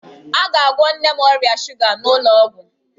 A ga-agwọ nne m ọrịa shuga ya n'ụlọ ọgwụ.